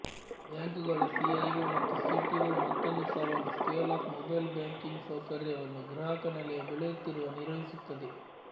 ಬ್ಯಾಂಕುಗಳ ಸಿಐಒ ಮತ್ತು ಸಿಟಿಒ ಮತ್ತೊಂದು ಸವಾಲು ಸ್ಕೆಲ್ ಅಪ್ ಮೊಬೈಲ್ ಬ್ಯಾಂಕಿಂಗ್ ಸೌಕರ್ಯವನ್ನು ಗ್ರಾಹಕ ನೆಲೆಯ ಬೆಳೆಯುತ್ತಿರುವ ನಿರ್ವಹಿಸುತ್ತದೆ